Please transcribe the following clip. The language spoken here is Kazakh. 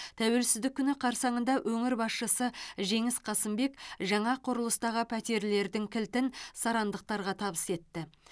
тәуелсіздік күні қарсаңында өңір басшысы жеңіс қасымбек жаңа құрылыстағы пәтерлердің кілтін сарандықтарға табыс етті